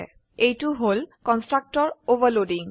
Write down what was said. এইটো হল constructor overloading